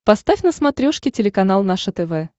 поставь на смотрешке телеканал наше тв